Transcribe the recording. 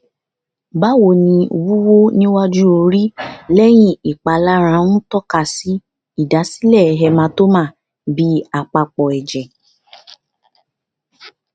bawo ni wuwu niwaju ori leyin ipalara n toka si idasile hematoma bi apapo eje